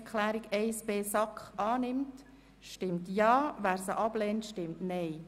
Wer diese annimmt, stimmt Ja, wer diese ablehnt, stimmt Nein.